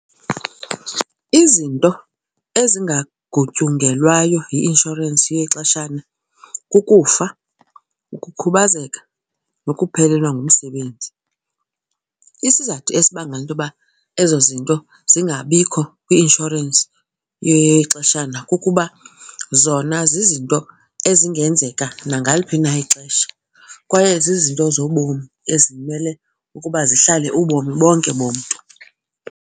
Izinto ezingangutyungelwayo yi-inshorensi yexeshana kukufa, ukukhubazeka nokuphelelwa ngumsebenzi. Isizathu esibangela into yoba ezo zinto zingabikho kwi-inshorensi yexeshana kukuba zona zizinto ezingenzeka nangaliphi na ixesha kwaye zizinto zobomi ezimele ukuba zihlale ubomi bonke bomntu.